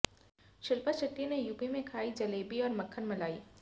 शिल्पा शेट्टी ने यूपी में खाई जलेबी और मक्खन मलाई